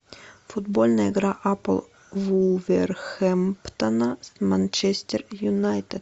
футбольная игра апл вулверхэмптона с манчестер юнайтед